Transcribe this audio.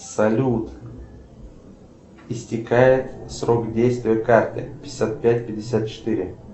салют истекает срок действия карты пятьдесят пять пятьдесят четыре